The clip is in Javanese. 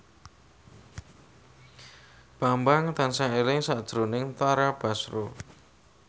Bambang tansah eling sakjroning Tara Basro